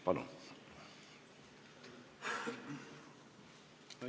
Palun!